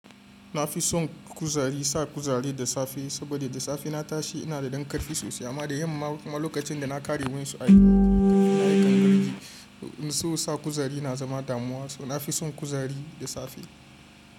Na fi son kuzari sa kuzari da safe saboda da safe in na tashi ina da dankarfi sosai. Amma da yamma kuma lokacin da na ƙare wansu aiki ina yakan gargaɗi. So sa kuzari na zama damuwa. So na fi son kuzari da safe.